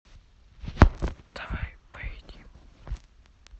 давай поедим